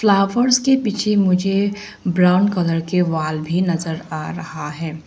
Flowers के पीछे मुझे ब्राउन कलर के वॉल भी नजर आ रहा है।